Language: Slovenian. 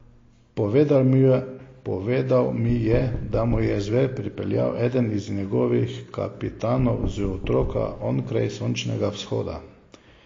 Povedal mi je, da mu je zver pripeljal eden izmed njegovih kapitanov z otoka onkraj sončnega vzhoda.